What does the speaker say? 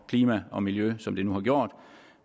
klima og miljø som det nu har gjort